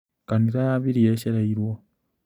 Kanitha yambirie ĩcereirwo.